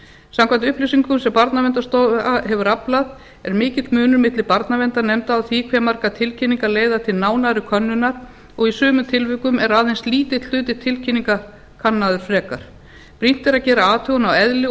samkvæmt upplýsingum sem barnaverndarstofa hefur aflað er mikill munur milli barnaverndarnefnda á því hve margar tilkynningar leiða til nánari könnunar og í sumum tilvikum er aðeins lítill hluti tilkynninga kannaður frekar brýnt er að gera athugun á eðli og